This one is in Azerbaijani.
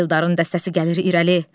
Eldarın dəstəsi gəlir irəli.